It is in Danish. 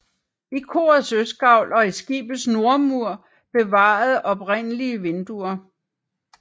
I korets østgavl og i skibets nordmur er bevaret oprindelige vinduer